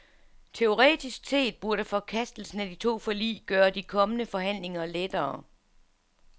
Teoretisk set burde forkastelsen af de to forlig gøre de kommende forhandlinger lettere.